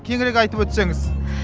кеңірек айтып өтсеңіз